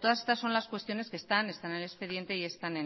todas estas son las cuestiones que están en el expediente y están